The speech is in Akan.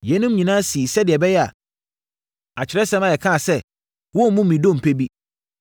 Yeinom nyinaa sii sɛdeɛ ɛbɛyɛ a, Atwerɛsɛm a ɛka sɛ, “Wɔremmu ne dompe bi”